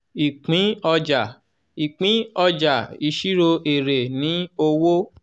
ìpín ọjà ìpín ọjà ìṣirò èrè ni owó.